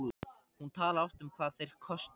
Hún talar oft um hvað þeir kostuðu.